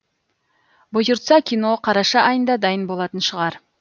бұйыртса кино қараша айында дайын болатын шығар